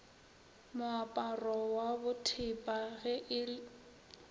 moaparo wa bothepa ge e